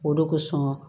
O de kosɔn